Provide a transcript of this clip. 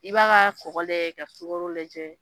I b'a ka kɔkɔ lajɛ ka sukaro lajɛ,